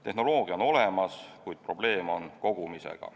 Tehnoloogia on olemas, kuid probleeme on kogumisega.